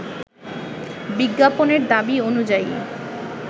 বিজ্ঞাপনের দাবি অনুযায়ী